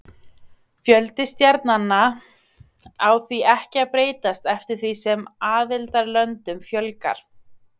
Fjöldi stjarnanna á því ekki að breytast eftir því sem aðildarlöndum fjölgar.